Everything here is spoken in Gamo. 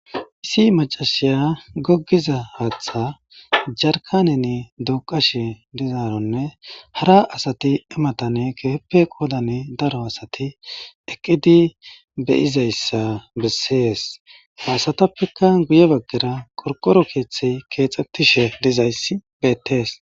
Issi macasiya gogiza hatha jarkanenne duqashe dizaronne hara asati ta matani kehipe qodana daro asati eqidi de'izaysa besese ha asatapekka guye bagara qorworo kethay kexetishe dizays betese